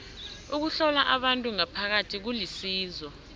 ukuhlola abantu ngaphakathi kulisizo